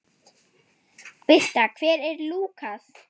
Birta: Hver er Lúkas?